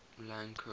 lang ko